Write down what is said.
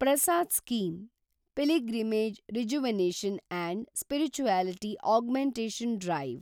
Prasad scheme – pilgrimage rejuvenation and spirituality augmentation drive